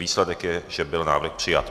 Výsledek je, že byl návrh přijat.